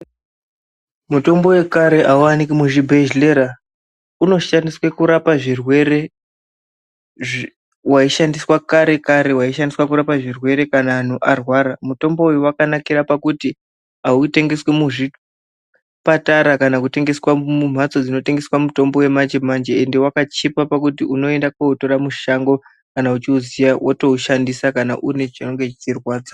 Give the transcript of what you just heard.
Mitombo yekare haiwanikwe muzvibhedhlera, unoshandiswe kurapa zvirwere waishandiswa kare kare waishandiswe kurapa zvirwere kana andu arwara , mutombo uyu wakanakire pakuti hautengeswe muzvipatara , kana kutengeswa mumhatso dzinotengeswa mutombo wemanje-manje ende wakachipa pakuti unoende komutora mushango ,kana uchiuziya wotoushandisa kana uine chinenge cheirwadza.